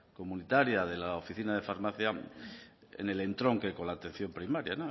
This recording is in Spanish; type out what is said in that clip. comunitaria de la oficina de farmacia en el entronque con la atención primaria